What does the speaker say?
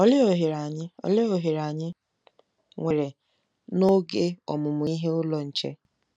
Olee ohere anyị Olee ohere anyị nwere n'oge Ọmụmụ Ihe Ụlọ Nche?